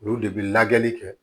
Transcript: Olu de bi lajɛli kɛ